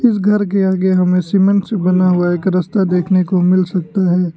घर के आगे हमें सीमेंट से बना हुआ एक रास्ता देखने को मिल सकता है।